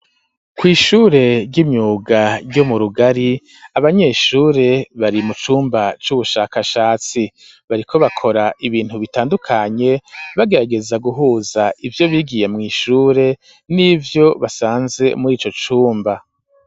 Kw' ishure ry'imyuga ,ryo mu rugari ,abanyeshure bari mu cumba c'ubushakashatsi ,bariko bakora ibintu bitandukanye, bagarageza guhuza ivyo bigiye mw'ishure ,nivyo basanze muri ico cumba.